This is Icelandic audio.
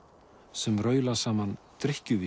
sem raula saman